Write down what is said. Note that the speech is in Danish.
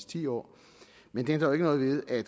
ti år men det ændrer ikke noget ved at